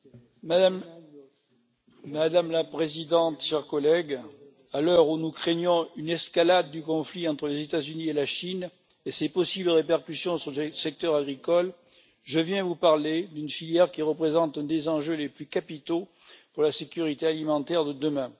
Madame la Présidente, chers collègues, à l'heure où nous craignons une escalade du conflit entre les États Unis et la Chine et ses possibles répercussions sur le secteur agricole, je viens vous parler d'une filière qui représente l'un des enjeux les plus capitaux pour la sécurité alimentaire de demain.